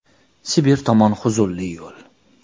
Sibir tomon huzunli yo‘l.